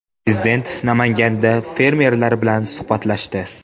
Prezident Namanganda fermerlar bilan suhbatlashdi.